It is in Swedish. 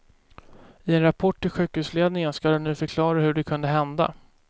I en rapport till sjukhusledningen ska de nu förklara hur det kunde hända.